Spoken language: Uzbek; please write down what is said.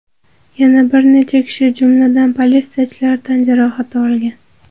Yana bir necha kishi, jumladan, politsiyachilar tan jarohati olgan.